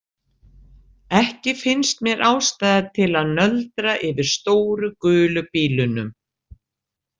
Ekki finnst mér ástæða til að nöldra yfir stóru gulu bílunum.